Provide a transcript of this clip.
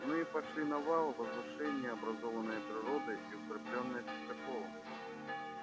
мы пошли на вал возвышение образованное природой и укреплённое частоколом